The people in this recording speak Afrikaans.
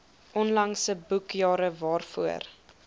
onlangse boekjare waarvoor